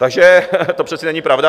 Takže to přece není pravda!